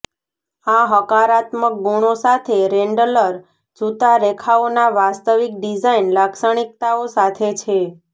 આ હકારાત્મક ગુણો સાથે રેંડલર જૂતા રેખાઓના વાસ્તવિક ડિઝાઇન લાક્ષણિકતાઓ સાથે છે